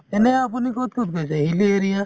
এনে আপুনি ক''ত ক'ত গৈছে hilly area